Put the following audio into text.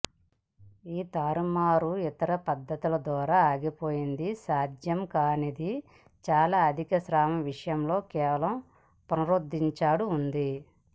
ఈ తారుమారు ఇతర పద్ధతుల ద్వారా ఆగిపోయింది సాధ్యం కాదని చాలా అధిక స్రావం విషయంలో కేవలం పునరుద్ధరించాడు ఉంది